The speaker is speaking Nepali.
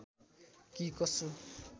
कि कसो